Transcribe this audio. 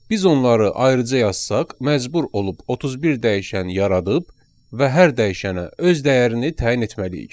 Biz onları ayrıca yazsaq, məcbur olub 31 dəyişən yaradıb və hər dəyişənə öz dəyərini təyin etməliyik.